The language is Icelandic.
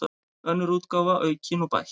Önnur útgáfa, aukin og bætt.